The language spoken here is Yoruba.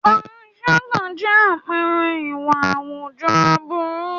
Panṣágà jẹ́ àpẹẹrẹ ìwà àwùjọ aburú.